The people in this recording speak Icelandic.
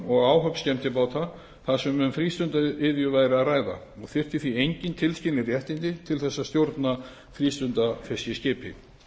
og áhöfn skemmtibáta þar sem um frístundaiðju væri að ræða og þyrfti því engin tilskilin réttindi til þess að stjórna frístundafiskiskipi